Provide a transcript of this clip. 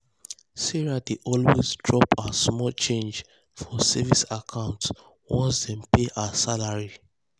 sarah dey always drop her small change for savings account once dem pay um her salary.